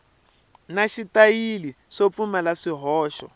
na xitayili swo pfumala swihoxo